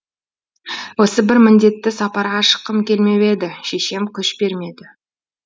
осы бір міндетті сапарға шыққым келмеп еді шешем күш бермеді